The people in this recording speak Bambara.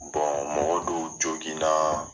mɔgɔw jogin na